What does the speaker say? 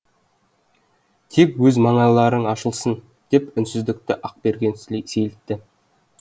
тек өз мандайларың ашылсын деп үнсіздікті ақберген сейілтті